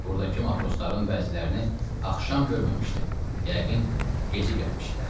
Buradakı matrosların bəzilərini axşam görməmişdim, yəqin gecə gəlmişdilər.